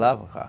Lavar.